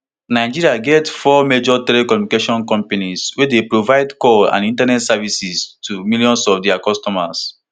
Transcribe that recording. nigeria get four major telecommunications company wey dey provide call and internet services to millions of dia customers